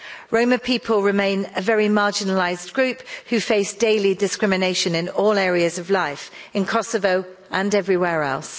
Roma people remain a very marginalised group who face daily discrimination in all areas of life in Kosovo and everywhere else.